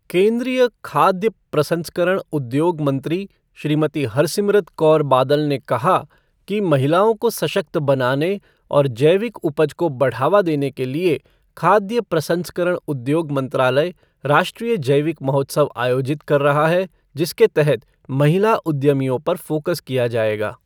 केन्द्रीय खाद्य प्रसंस्करण उ़द्योग मंत्री श्रीमती हरसिमरत कौर बादल ने कहा कि महिलाओं को सशक्त बनाने और जैविक उपज को बढ़ावा देने के लिए खाद्य प्रसंस्करण उद्योग मंत्रालय राष्ट्रीय जैविक महोत्सव आयोजित कर रहा है, जिसके तहत महिला उद्यमियों पर फ़ोकस किया जाएगा।